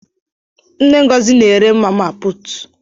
Mma Ngọzi na ere mama putu.